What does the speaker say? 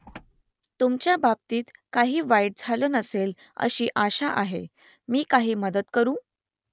तुमच्या बाबतीत काही वाईट झालं नसेल अशी आशा आहे . मी काही मदत करू ?